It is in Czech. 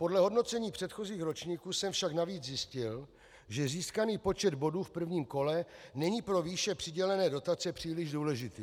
Podle hodnocení předchozích ročníků jsem však navíc zjistil, že získaný počet bodů v prvním kole není pro výše přidělené dotace příliš důležitý.